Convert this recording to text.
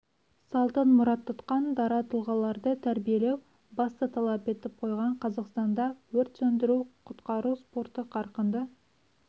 салтын мұрат тұтқан дара тұлғаларды тәрбиелеу басты талап етіп қойған қазақстанда өрт сөндіру-құтқару спорты қарқынды